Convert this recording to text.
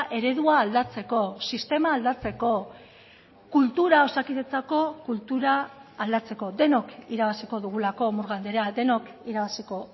eredua aldatzeko sistema aldatzeko kultura osakidetzako kultura aldatzeko denok irabaziko dugulako murga andrea denok irabaziko